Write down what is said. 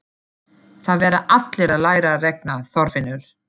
Það verða allir að læra að reikna, Þorfinnur